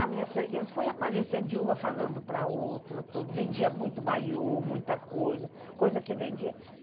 A minha freguesa foi aparecendo de uma falando para outra, vendia muito maiô, muita coisa, coisa que vendia.